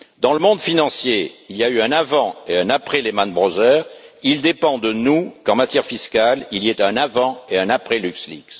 Dans le monde financier, il y a eu un avant et un après Lehman Brothers, il dépend de nous, qu'en matière fiscale, il y ait un avant et un après LuxLeaks.